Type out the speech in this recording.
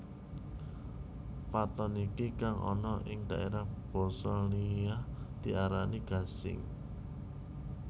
Pathon iki kang ana ing daerah basa liya diarani gasing